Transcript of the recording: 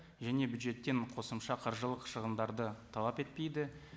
және бюджеттен қосымша қаржылық шығындарды талап етпейді